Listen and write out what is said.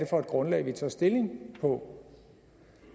for et grundlag vi tager stilling på